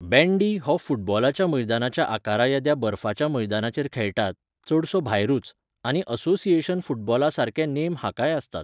बँडी हो फुटबॉलाच्या मैदानाच्या आकारा येद्या बर्फाच्या मैदानाचेर खेळटात, चडसो भायरूच, आनी असोसिएशन फुटबॉला सारके नेम हाकाय आसतात.